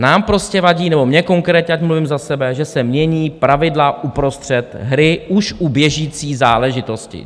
Nám prostě vadí, nebo mně konkrétně, ať mluvím za sebe, že se mění pravidla uprostřed hry už u běžící záležitosti.